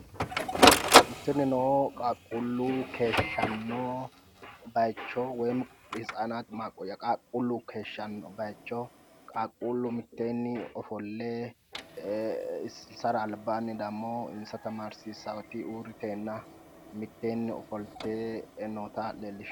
Tinino qaaqquullu keeshshanno woyim hitsanaati maaqqoyya qaaqquullu keeshshanno bayicho qaaqquullu albaanni ofolle insara albaanni demo insa tamaarsiisaawoti uurriteenna mitteenni ogolte noota leellishshanno.